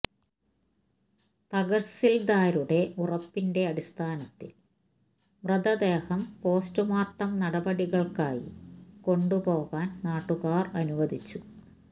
തഹസില്ദാരുടെ ഉറപ്പിന്റെ അടിസ്ഥാനത്തില് മൃതദേഹം പോസ്റ്റ്മോര്ട്ടം നടപടികള്ക്കായി കൊണ്ടുപോകാന് നാട്ടുകാര് അനുവദിച്ചു